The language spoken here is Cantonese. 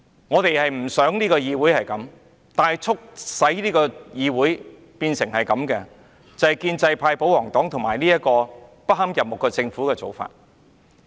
我們不想議會變成這樣，但促使議會變成這樣的就是建制派、保皇黨和不堪入目的政府的做法。